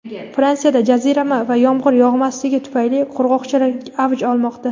Fransiyada jazirama va yomg‘ir yog‘masligi tufayli qurg‘oqchilik avj olmoqda.